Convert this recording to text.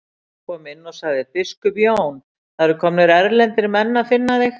Ráðsmaðurinn kom inn og sagði:-Biskup Jón, það eru komnir erlendir menn að finna þig.